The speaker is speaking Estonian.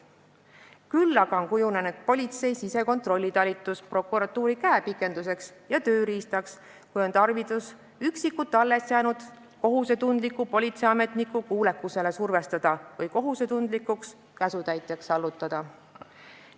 Küll aga on politsei sisekontrollitalitus kujunenud prokuratuuri käepikenduseks ja tööriistaks, kui on tarvidus üksikuid alles jäänud kohusetundlikke politseiametnikke kuulekusele survestada või kohusetundlikuks käsutäitjaks allutada.